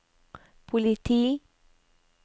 politi